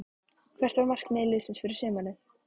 Hvert er markmið liðsins fyrir sumarið?